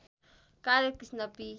कार्य कृष्ण पी